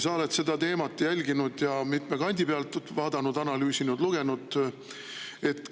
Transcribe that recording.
Sa oled seda teemat jälginud, mitme kandi pealt vaadanud, analüüsinud ja selle kohta lugenud.